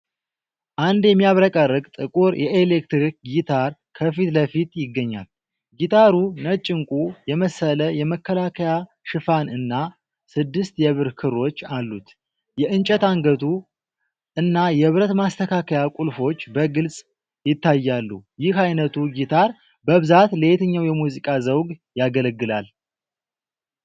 አንድ የሚያብረቀርቅ ጥቁር የኤሌክትሪክ ጊታር ከፊት ለፊት ይገኛል፤ ጊታሩ ነጭ ዕንቁ የመሰለ የመከላከያ ሽፋን እና ስድስት የብር ክሮች አሉት። የእንጨት አንገቱ እና የብረት ማስተካከያ ቁልፎች በግልጽ ይታያሉ፤ ይህ ዓይነቱ ጊታር በብዛት ለየትኛው የሙዚቃ ዘውግ ያገለግላል?